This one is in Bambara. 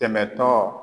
Dɛmɛtɔ